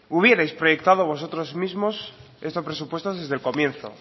hubieras proyectado vosotros mismos estos presupuestos desde el comienzo